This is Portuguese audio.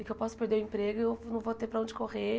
E que eu posso perder o emprego e eu não vou ter para onde correr.